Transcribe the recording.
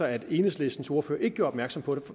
at enhedslistens ordfører ikke gjorde opmærksom på det